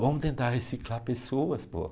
Vamos tentar reciclar pessoas, pô.